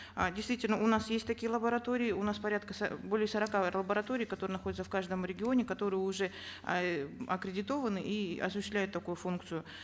а действительно у нас есть такие лаборатории у нас порядка более сорока лабораторий которые находятся в каждом регионе которые уже э аккредитованы и осуществляют такую функцию